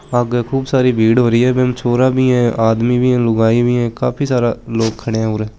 आगे खूब सारी भीड़ होरी है बम छोरा भी है आदमी भी है लुगाई भी है काफी सारा लोग खडया है उर।